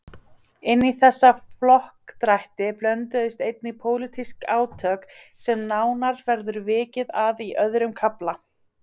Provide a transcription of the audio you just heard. Inní þessa flokkadrætti blönduðust einnig pólitísk átök sem nánar verður vikið að í öðrum kafla.